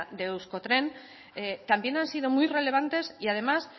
de euskotren también han sido muy relevantes y además